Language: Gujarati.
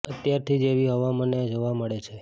અત્યારથી જ એવી હવા મને જોવા મળે છે